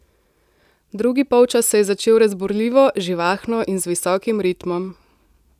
Drugi polčas se je začel razburljivo, živahno in z visokim ritmom.